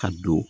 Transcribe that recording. Ka don